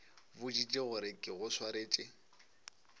boditše gore ke go swaretše